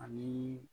Ani